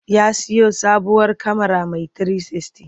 Ya siyo sabuwar kyamara mai 360.